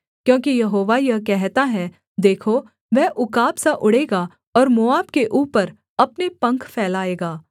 क्योंकि यहोवा यह कहता है देखो वह उकाब सा उड़ेगा और मोआब के ऊपर अपने पंख फैलाएगा